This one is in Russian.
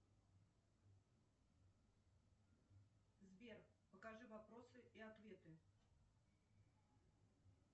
сбер покажи вопросы и ответы